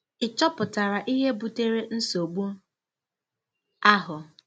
Ị̀ chọpụtara ihe butere nsogbu ahụ?